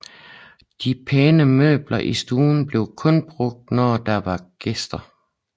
De pæne møbler i stuen blev kun brugt når der var gæster